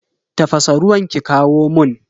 Tafasa ruwan ki kawo mun.